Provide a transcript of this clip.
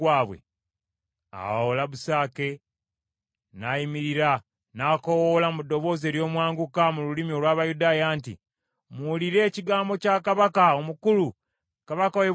Awo Labusake n’ayimirira n’akoowoola mu ddoboozi ery’omwanguka mu lulimi olw’Abayudaaya nti, “Muwulire ekigambo kya kabaka omukulu, kabaka w’e Bwasuli!